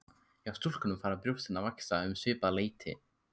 Hjá stúlkum fara brjóstin að vaxa um svipað leyti.